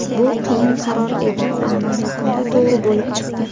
Bu qiyin qaror edi, ammo yakunda to‘g‘ri bo‘lib chiqdi.